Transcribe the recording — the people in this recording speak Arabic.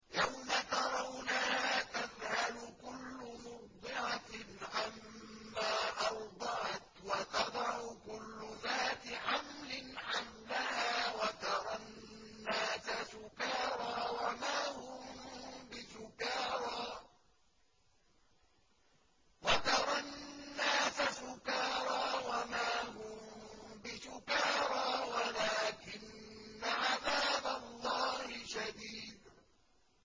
يَوْمَ تَرَوْنَهَا تَذْهَلُ كُلُّ مُرْضِعَةٍ عَمَّا أَرْضَعَتْ وَتَضَعُ كُلُّ ذَاتِ حَمْلٍ حَمْلَهَا وَتَرَى النَّاسَ سُكَارَىٰ وَمَا هُم بِسُكَارَىٰ وَلَٰكِنَّ عَذَابَ اللَّهِ شَدِيدٌ